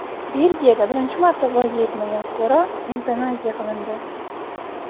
Belgiyada birinchi marta voyaga yetmagan fuqaro evtanaziya qilindi.